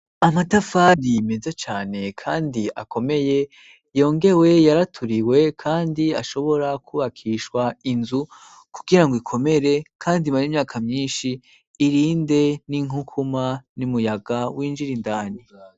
Amatafani meze cane kandi akomeye yongewe yaraturiwe kandi ashobora kubakishwa inzu kugira ngo ikomere kandi imare imyaka myinshi irinde n'inkukuma n'umuyaga w'injira indani.